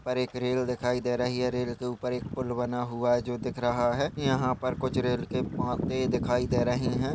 पर एक रेल दिखाई दे रही है। रेल के उपर एक पूल बना हुआ है जो दिख रहा है। यहा पर कुछ रेल के पोते दिखाई दे रहे है।